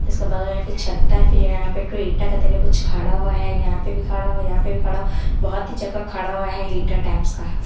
इसके बगल में एक छत्ता है फिर यहां पे एक ठो ईटा के तरह कुछ खड़ा हुआ है यहां पे भी खड़ा हुआ यहां पे भी खड़ा है बहुत ही जगह खड़ा हुआ है ईटा टाइप्स का।